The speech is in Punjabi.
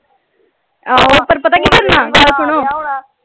ਆਹੋ ਪਰ ਪਤਾ ਕਿ ਹੁਣਾ ਗੱਲ ਸੁਣੋ।